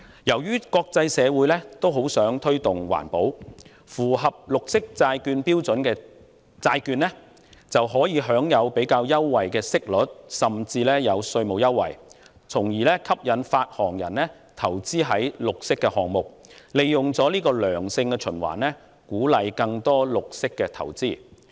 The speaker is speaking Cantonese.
由於國際社會也很想推動環保，因此符合綠色債券標準的債券可享有較優惠的息率，甚至稅務優惠，以吸引發行人投資於綠色項目上，這樣便會形成一個良性循環，有助鼓勵更多綠色投資。